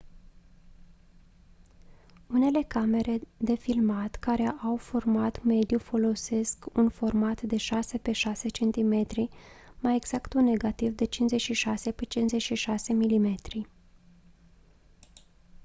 unele camere de filmat care au un format mediu folosesc un format de 6 x 6 cm mai exact un negativ de 56 x 56 mm